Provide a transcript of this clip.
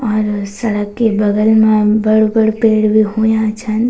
और सड़क के बगल मा बडू-बडू पेड़ भी हुयां छन।